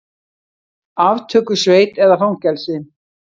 Aftökusveit eða fangelsi?